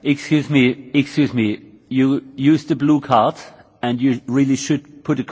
You used a blue card and you really should put a question to the speaker.